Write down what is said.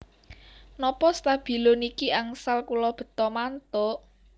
Nopo stabilo niki angsal kula beta mantuk?